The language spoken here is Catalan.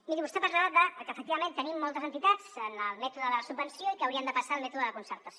miri vostè parlava de que efectivament tenim moltes entitats en el mètode de la subvenció i que haurien de passar al mètode de la concertació